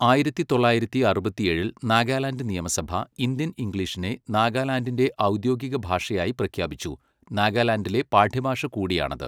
ആയിരത്തി തൊള്ളായിരത്തി അറുപത്തിയേഴിൽ നാഗാലാൻഡ് നിയമസഭ ഇന്ത്യൻ ഇംഗ്ലീഷിനെ നാഗാലാൻഡിൻ്റെ ഔദ്യോഗിക ഭാഷയായി പ്രഖ്യാപിച്ചു, നാഗാലാൻഡിലെ പാഠ്യഭാഷ കൂടിയാണത്.